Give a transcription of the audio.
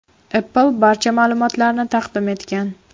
Apple barcha ma’lumotlarni taqdim etgan.